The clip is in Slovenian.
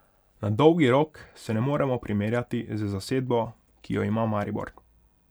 Na dolgi rok se ne moremo primerjati z zasedbo, ki jo ima Maribor.